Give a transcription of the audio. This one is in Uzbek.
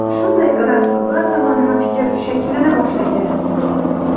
Shunday qilib bir tomonlama fikr shakllana boshlaydi.